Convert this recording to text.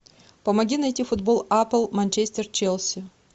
помоги найти футбол апл манчестер челси